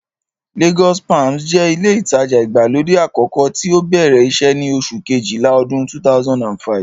Lagos palms jẹ́ ilé ìtajà ìgbàlódé àkọ́kọ́ tí ó bẹ̀rẹ̀ iṣẹ́ ní oṣù kejìlá ọdún 2005